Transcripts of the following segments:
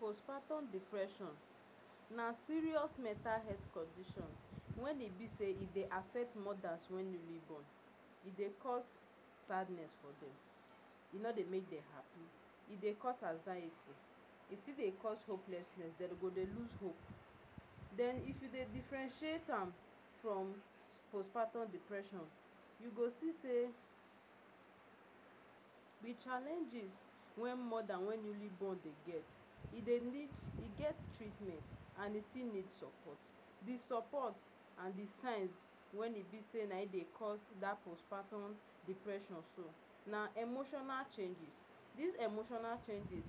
Postpartum depression na serious metal health condition when e be say e dey affect mothers when newly born. E dey cause sadness for dem. E no dey make dem happy. E dey cause anxiety. E still dey cause hopelessness. Dem go dey lose hope. Then if you dey differentiate am from postpartum depression you go see say the challenges when mothers when newly born dey get, e dey need e get treatment. And e still need support. The support and the signs wey e be say na dem dey cause dat postpartum depression so, na emotional changes. Dis emotional changes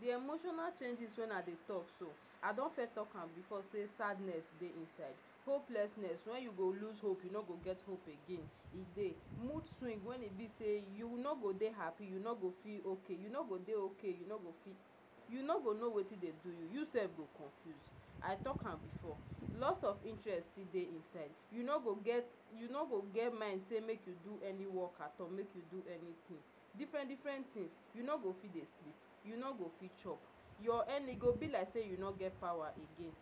The emotional changes wey I dey talk so, I don fes talk am be say sadness dey inside. Hopelessness when you go lose hope. You no go get hope again. E dey. Mood swing wey e be say you no go dey happy, you no go feel okay. You no go dey okay. You no go fit you no go know wetin dey do you. You sef go confuse. I talk am before lost of interest still dey inside. You no go get you no go get mind say make you do any work at all, make you do anything, different-different things. You no go fit dey sleep. You no go fit chop. Your energy e go be like say you no get power again.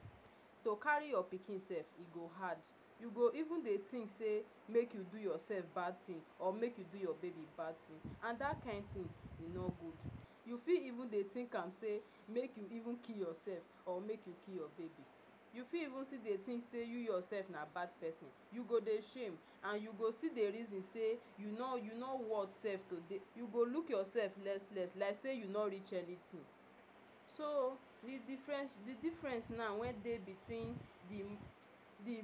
To carry your pikin sef e go hard. You go even dey think say make you do yourself bad thing or make you do your baby bad thing and dat kin thing e no good. You fit even dey think am say make you even kih yourself or make you kih your baby. You fit even dey think say you yourself na bad pesin. You go dey shame. And you go still dey reason say, you no you no worth sef to dey. You go look yourself less-less, like say you no reach anything. So, the difference the difference now when dey between the the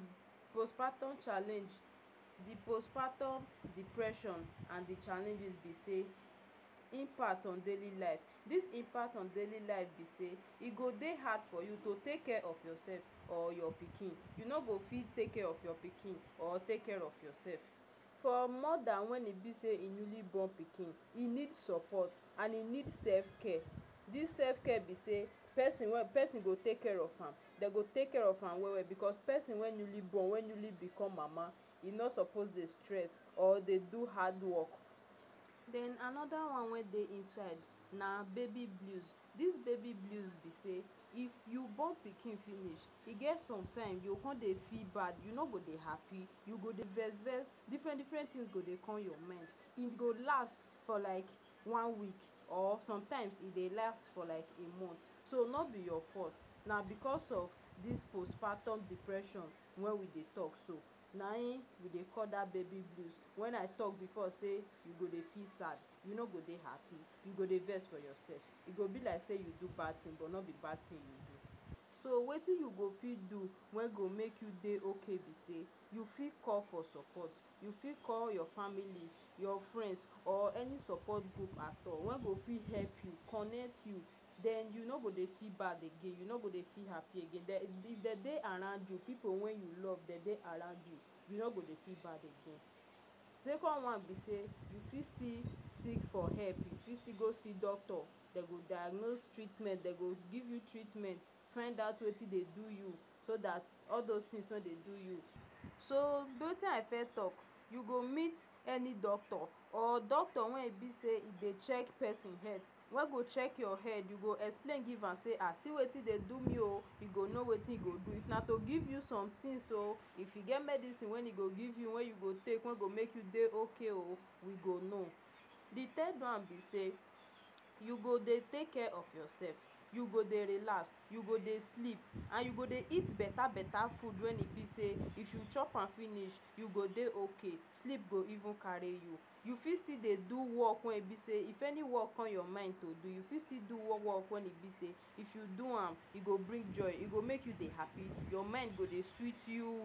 postpartum challenge, the postpartum depression and the challenges be say: Impact on daily life. Dis impact on daily life be say e go dey hard for you to take care of yourself or your pikin. You no go fit take care of your pikin or take care of yourself. For mother when e be say e newly born pikin, e need support and e need self-care. Dis self-care be say, pesin wey pesin go take care of am. Dem go take care of am well well. Because pesin wey newly born, wey newly become Mama, e no suppose dey stress or dey do hard work. Then another one wey dey inside na Baby blues. Dis baby blues be say, if you born pikin finish, e get sometime, you go come dey feel bad. You no go dey happy. You go dey vex-vex. Different-different things go dey come your mind. E go last for like one week or sometime e dey last for a month. So, no be your fault—na because of dis postpartum depression when we dey talk so. Na im we dey call dat baby blues. When I talk before say, you go dey feel sad, you no go dey happy, you go dey vex for yourself—e go be like say you do bad thing but no be bad thing you do. So wetin you go fit do wey go make you dey okay be say: You fit call for support. You fit call your families, your friends or any support group at all wey go fit help you, connect you. Then you no go dey feel bad again. You no go dey feel happy again. If dem dey around you, pipu wey you love—dem dey around you—you no go dey feel bad again. Second one be say, you fit still seek for help. You fit still go see doctor. Dem go diagnose treatment. Dem go give you treatment. Find out wetin dey do you, so dat all those thing wey dey do you… So, wetin I first talk—you go meet any doctor, or doctor wey e be say e dey check pesin head. Wey go check your head. You go explain give am—say, “Ah See wetin dey do me oh!” E go know wetin e go do. If na to give you somethings oh, if e get medicine wey e go give you wey you go take wey go make you dey okay, you go know. The third one be say, you go dey take care of yourself. You go dey relax, you go dey sleep and you go eat beta beta food when e be say if you chop am finish, you go dey okay. Sleep go even carry you. You fit still dey do work wey e be say if any work come your mind to do, you fit still do wo work—wey e be say if you do am, e go bring joy, e go make you dey happy. Your mind go dey sweet you.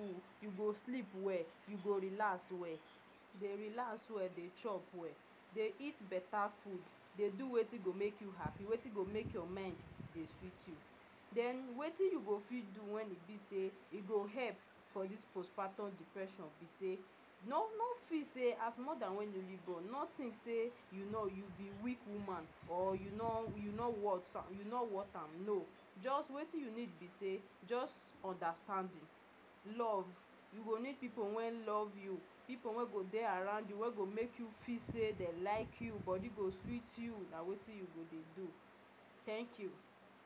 You go sleep well. You go relax well—dey relax well, dey chop well. Dey eat beta food. Dey do wetin go make you happy. Wetin go make your mind dey sweet you. Then wetin you go fit do when e be say e go help for dis postpartum depression be say: No, no feel say as Mother wey newly born, no think say you no you be weak woman or you no you no worth you no worth am—no! Just, wetin you need be say, just understanding love— You go need pipu wey love you. Pipu wey go dey around you. Wey go make you feel say dem like you, your body go sweet you. Na wetin you go dey do. Thank you.